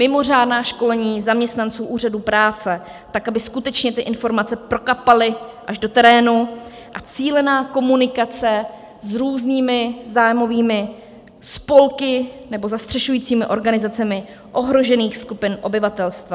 Mimořádná školení zaměstnanců úřadů práce, tak aby skutečně ty informace prokapaly až do terénu, a cílená komunikace s různými zájmovými spolky nebo zastřešujícími organizacemi ohrožených skupin obyvatelstva.